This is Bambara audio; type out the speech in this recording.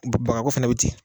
Bagako fana bɛ ten